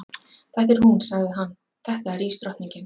Þetta er hún, sagði hann, þetta er ísdrottningin.